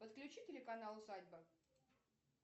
подключи телеканал усадьба